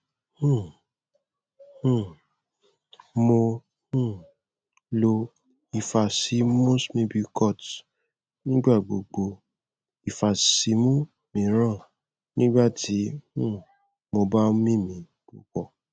um um mo um lo ifasimu symbicort nigbagbogbo ifasimu miiran nigbati um mo ba mimi pupọ